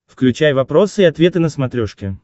включай вопросы и ответы на смотрешке